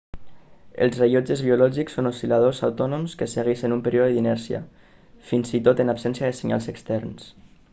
els rellotges biològics són oscil·ladors autònoms que segueixen un període d'inèrcia fins i tot en absència de senyals externs